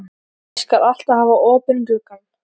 Ég skal alltaf hafa opinn gluggann.